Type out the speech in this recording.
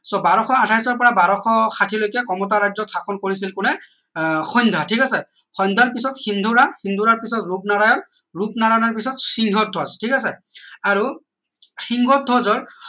so বাৰশ আঠাইশ ৰ পৰা বাৰশ ষাঠি লৈকে কমতা ৰাজ্য শাসন কৰিছিল কোনে আহ সন্ধ্যা ঠিক আছে সন্ধ্যাৰ পিছত সিন্দুৰায় সিন্ধুৰায় পিছত ৰুপনাৰায়ন ৰুপনাৰায়ন পিছত সিংহধ্বজ ঠিক আছে আৰু সিংহধ্বজৰ